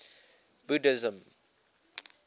buddhism